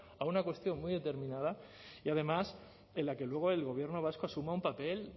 a una cuestión muy determinada y además en la que luego el gobierno vasco asuma un papel